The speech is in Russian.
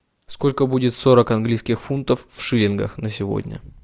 сколько будет сорок английских фунтов в шиллингах на сегодня